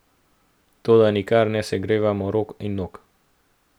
Toda nikar ne segrevajmo rok in nog!